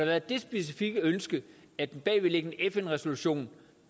været det specifikke ønske at en bagvedliggende fn resolution